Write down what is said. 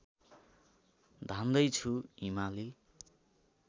धान्दै छु हिमाली